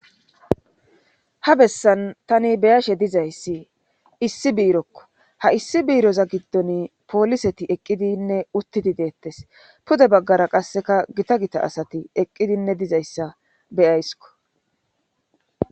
Ha bessan tani beyashe dizayssi issi biirokko ha issi biiroza giddon pooliseti eqqidinne uttidi deettes pude baggara qasseka gita gita asati eqqidinne dizayssa beyayskko